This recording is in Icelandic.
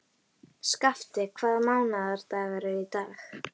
Skafti, hvaða mánaðardagur er í dag?